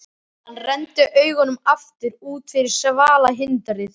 Maðurinn dró gulnaða blaðaauglýsingu upp úr skúffunni, rétti